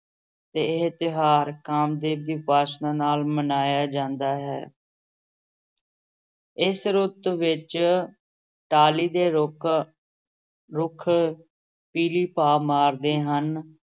ਤੇ ਇਹ ਤਿਉਹਾਰ ਕਾਮਦੇਵ ਦੀ ਉਪਾਸ਼ਨਾ ਨਾਲ ਮਨਾਇਆ ਜਾਂਦਾ ਹੈ ਇਸ ਰੁੱਤ ਵਿਚ ਟਾਹਲੀ ਦੇ ਰੁੱਖ, ਰੁੱਖ ਪੀਲੀ ਭਾ ਮਾਰਦੇ ਹਨ।